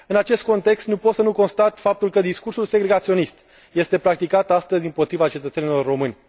În acest context, nu pot să nu constat faptul că discursul segregaționist este practicat astăzi împotriva cetățenilor români.